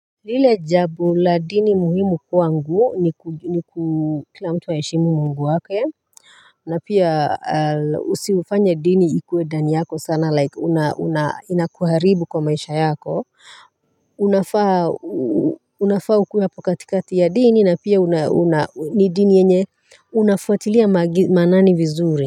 Lile jabu la dini muhimu kwangu ni kila mtu aeshimu mungu wake. Na pia usifanye dini ikuwe dani yako sana like una inakuharibu kwa maisha yako unafaa ukuwe hapo katikati ya dini na pia ni dini yenye unafuatilia manani vizuri. Kwa hivyo.